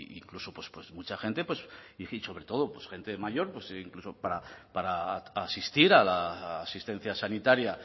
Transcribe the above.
incluso pues mucha gente pues y sobre todo pues gente mayor pues incluso para asistir a la asistencia sanitaria